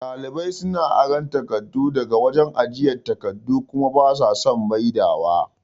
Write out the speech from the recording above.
Ɗalibai suna aran takardu daga wajan ajiye takardu kuma basa son maidawa